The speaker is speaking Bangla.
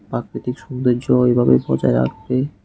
পাকৃতিক সুন্দর্য এইভাবে বজায় রাখবে।